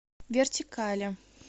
вертикали